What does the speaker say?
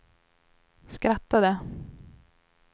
skrattade